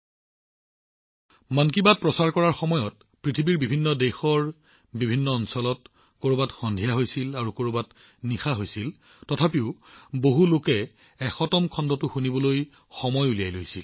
যেতিয়া মন কী বাত সম্প্ৰচাৰ কৰা হৈছিল পৃথিৱীৰ বিভিন্ন দেশত বিভিন্ন সময় অঞ্চলত কৰবাত সন্ধিয়া হৈছিল আৰু কৰবাত ৰাতি পলম হৈছিল তথাপিও বহু সংখ্যক লোকে শততম খণ্ডটো শুনিবলৈ সময় উলিয়াইছিল